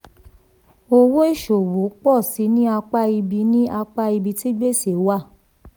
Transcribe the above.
owó ìṣòwò pọ̀ síi ní apá ibi ní apá ibi tí gbèsè wà.